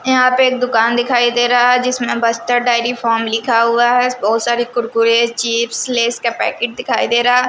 यहां पे एक दुकान दिखाई दे रहा है जिसमें बस्टर डायरी फॉर्म लिखा हुआ है बहुत सारी कुरकुरे चिप्स लेस का पैकेट दिखाई दे रहा --